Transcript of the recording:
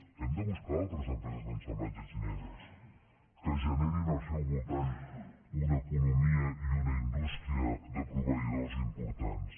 hem de buscar altres empreses d’assemblatge xineses que generin al seu voltant una economia i una indústria de proveïdors importants